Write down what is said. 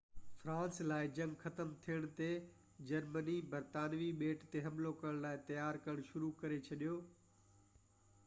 France لاءِ جنگ ختم ٿيڻ تي جرمني برطانوي ٻيٽ تي حملو ڪرڻ لاءِ تيار ڪرڻ شروع ڪري ڇڏي